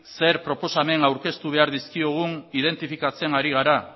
zer proposamen aurkeztu behar dizkiogun identifikatzen ari gara